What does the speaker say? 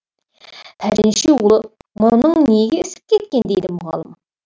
пәленшеұлы мұрының неге ісіп кеткен дейді мұғалім